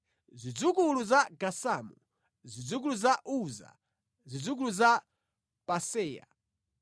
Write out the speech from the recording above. Zidzukulu za Gazamu, zidzukulu za Uza, zidzukulu za Paseya,